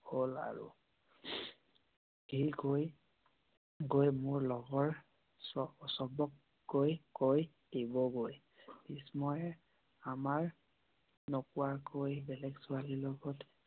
হহল আৰু সি কয় গৈ মোৰ লগৰ সৱক গৈ কৈ দিব গৈ। ভিষ্ময়ে আমাক নকোৱা কৈ বেলেক ছোৱালীৰ লগত